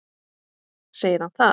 Segir hann það?